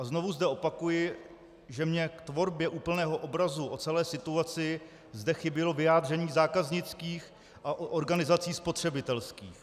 A znovu zde opakuji, že mě k tvorbě úplného obrazu o celé situaci zde chybělo vyjádření zákaznických a organizací spotřebitelských.